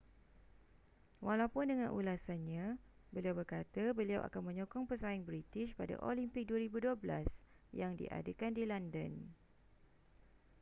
walaupun dengan ulasannya beliau berkata beliau akan menyokong pesaing british pada olimpik 2012 yang diadakan di london